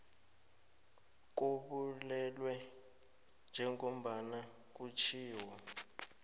kobulwelwe njengombana kutjhiwo